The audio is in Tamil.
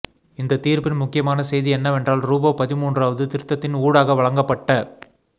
இந்தத் தீர்ப்பின் முக்கியமான செய்தி என்னவென்றால்ரூபவ் பதின்மூன்றாவது திருத்தத்தின் ஊடாக வழங்கப்பட்ட